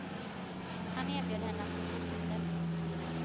Han erbjöd henne att bli fotomodell.